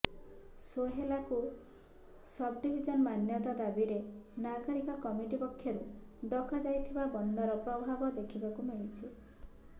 ସୋହେଲାକୁ sub division ମାନ୍ୟତା ଦାବିରେ ନାଗରିକ କମିଟି ପକ୍ଷରୁ ଡକା ଯାଇଥିବା ବନ୍ଦର ପ୍ରଭାବ ଦେଖିବାକୁ ମିଳିଛି